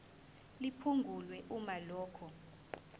liphungulwe uma lokhu